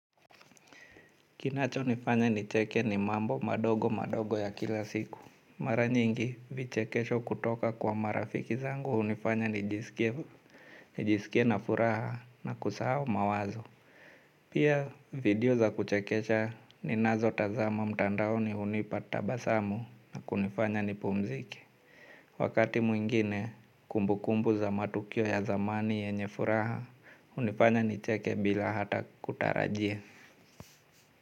Kinachonifanya nicheke ni mambo madogo madogo ya kila siku. Mara nyingi vichekesho kutoka kwa marafiki zangu hunifanya nijisikie na furaha na kusahao mawazo. Pia video za kuchekesha ninazotazama mtandaoni hunipa tabasamu na kunifanya nipumzike. Wakati mwingine kumbukumbu za matukio ya zamani yenye furaha hunifanya nicheke bila hata kutarajia.